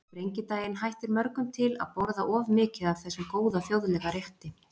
Á sprengidaginn hættir mörgum til að borða of mikið af þessum góða þjóðlega rétti.